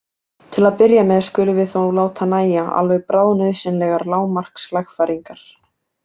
Til að byrja með skulum við þó láta nægja alveg bráðnauðsynlegar lágmarkslagfæringar.